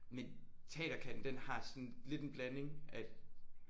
Men Teaterkatten den har sådan lidt en blanding at